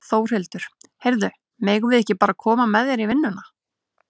Þórhildur: Heyrðu, megum við ekki bara koma með þér í vinnuna?